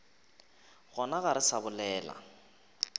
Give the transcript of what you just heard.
gona ga re sa bolela